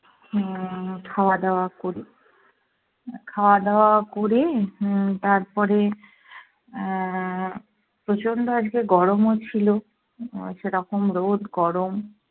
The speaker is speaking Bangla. হম খাওয়া দাওয়া করি। খাওয়া দাওয়া করে হম তারপরে আহ প্রচণ্ড আজকে গরমও ছিলো উম সেরকম রোদ গরম।